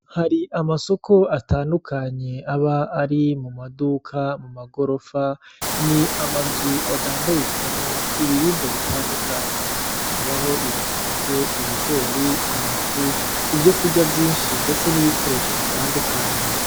Hari amasoko atandukanye aba ari mu maduka, mu magorofa ni amazu adandarizwamwo ibiribwa bitandukanye harabaho ibiharage, ibigori, amafu ivyo kurya vyinshi ndetse n'ibikoresho bitandukanye.